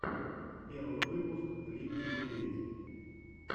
первый выпуск липкий медведь